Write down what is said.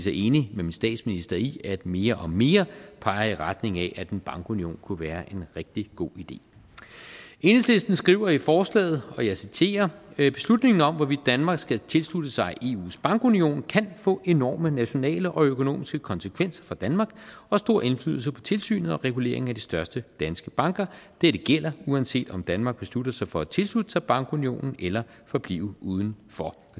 er enig med min statsminister i at mere og mere peger i retning af at en bankunion kunne være en rigtig god idé enhedslisten skriver i forslaget og jeg citerer beslutninger om hvorvidt danmark skal tilslutte sig eus bankunion kan få enorme nationale og økonomiske konsekvenser for danmark og stor indflydelse på tilsynet og reguleringen af de største danske banker dette gælder uanset om danmark beslutter sig for at tilslutte sig bankunionen eller forblive uden for